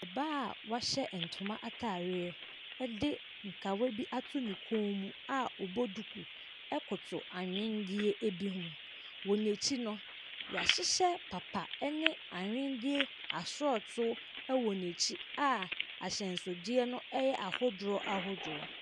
Ↄbaa a wahyɛ ntoma ataareɛ de nkawa bi agu ne kɔn mu a ɔbɔ duku koto anwenneɛ bi ho. Wɔ n’akyi no, yɛahyehyɛ papa ne nwenneɛ asɔɔtoo wɔ n’akyi a ahyɛnsodeɛ no yɛ ahodoɔ ahodoɔ.